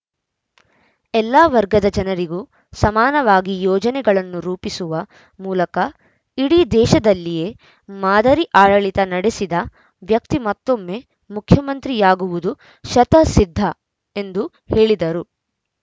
ಎಲ್ಲ ವರ್ಗದ ಜನರಿಗೂ ಸಮಾನವಾಗಿ ಯೋಜನೆಗಳನ್ನು ರೂಪಿಸುವ ಮೂಲಕ ಇಡೀ ದೇಶದಲ್ಲಿಯೇ ಮಾದರಿ ಆಡಳಿತ ನಡೆಸಿದ ವ್ಯಕ್ತಿ ಮತ್ತೊಮ್ಮೆ ಮುಖ್ಯಮಂತ್ರಿಯಾಗುವುದು ಶತಃಸಿದ್ಧ ಎಂದು ಹೇಳಿದರು